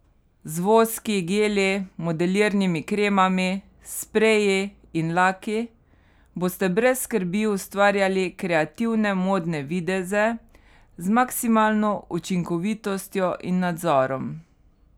Z voski, geli, modelirnimi kremami, spreji in laki boste brez skrbi ustvarjali kreativne modne videze z maksimalno učinkovitostjo in nadzorom.